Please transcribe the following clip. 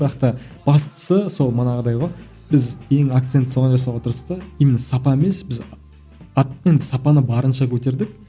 бірақ та бастысы сол манағыдай ғой біз ең акцент соған жасауға тырыстық именно сапа емес біз енді сапаны барынша көтердік